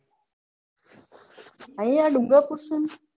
આઇયા ડુંગરપુર છું.